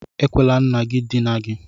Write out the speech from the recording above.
Ekwela nna gị dinaa gị!